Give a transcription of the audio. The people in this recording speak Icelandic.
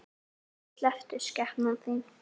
Æi, slepptu skepnan þín!